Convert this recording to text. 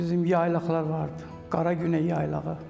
Bizim yaylaqlar vardı, Qara Günəy yaylağı.